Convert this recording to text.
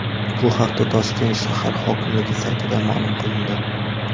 Bu haqda Toshkent shahar hokimligi saytida ma’lum qilindi .